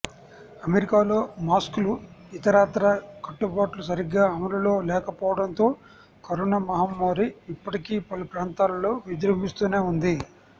అమెరికాలో మాస్క్లు ఇతరత్రా కట్టుబాట్లు సరిగ్గా అమలులో లేకపోవడంతో కరోనా మహమ్మారి ఇప్పటికీ పలు ప్రాంతాలలో విజృంభిస్తూనే ఉంది